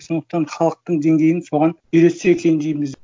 сондықтан халықтың деңгейін соған үйретсе екен дейміз